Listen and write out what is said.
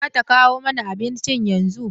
Zata kawo mana abincin yanzu.